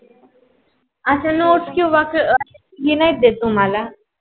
अस nots कीव्हा हे नाही देत तुम्हाला?